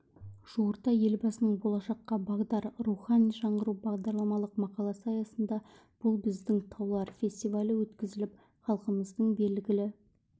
жуырда елбасының болашаққа бағдар рухани жаңғыру бағдарламалық мақаласы аясында бұл біздің таулар фестивалі өткізіліп халқымыздың белгілі